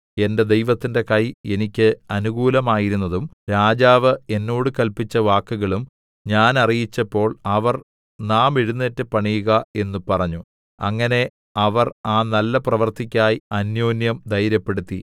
എന്റെ ദൈവത്തിന്റെ കൈ എനിക്ക് അനുകൂലമായിരുന്നതും രാജാവ് എന്നോട് കല്പിച്ച വാക്കുകളും ഞാൻ അറിയിച്ചപ്പോൾ അവർ നാം എഴുന്നേറ്റ് പണിയുക എന്ന് പറഞ്ഞു അങ്ങനെ അവർ ആ നല്ല പ്രവൃത്തിക്കായി അന്യോന്യം ധൈര്യപ്പെടുത്തി